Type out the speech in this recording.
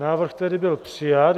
Návrh tedy byl přijat.